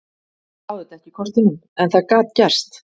Ég sá þetta ekki í kortunum en það gat gerst.